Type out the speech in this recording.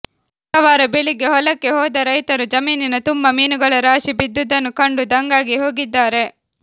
ಶುಕ್ರವಾರ ಬೆಳಿಗ್ಗೆ ಹೊಲಕ್ಕೆ ಹೋದ ರೈತರು ಜಮೀನಿನ ತುಂಬ ಮೀನುಗಳ ರಾಶಿ ಬಿದ್ದುದನ್ನು ಕಂಡು ದಂಗಾಗಿ ಹೋಗಿದ್ದಾರೆ